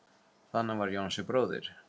Þannig var Jónsi bróðir.